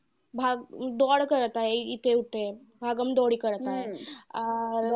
अं करत आहे इथे तिथे. करत आहे. अं